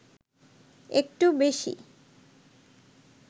একটু বেশি